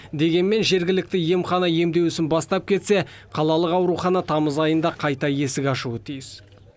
дегенмен жергілікті емхана емдеу ісін бастап кетсе қалалық аурухана тамыз айында қайта есік ашуы тиіс